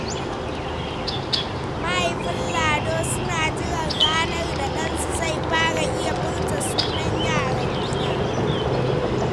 Mahaifan Lado suna jiran ranar da ɗansu zai fara iya furta sunan yaran gidan.